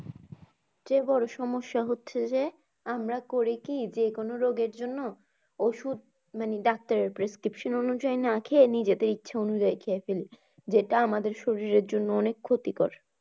সমস্যা হচ্ছে যে আমরা করি কি যেকোনো রোগের জন্য ওষুধ মানে doctor prescription অনুযায়ী না খেয়ে নিজেদের ইচ্ছে অনুযায়ী খেয়ে ফেলি। যেটা আমাদের শরীরের জন্যে অনেক ক্ষতিকর।